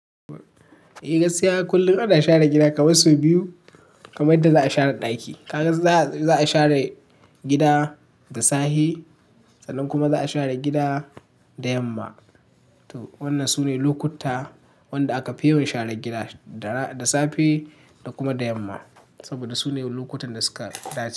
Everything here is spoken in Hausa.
Eh gaskiya kullum ana share gida kamar sau biyu, kamar yadda za a share ɗaki. Ka ga za a share gida da safe sannan kuma za a share gida da yamma. To wannan sune lokuta wanda aka fi yawan sharar gida, da safe da kuma da yamma saboda su ne lokutan da suka dace.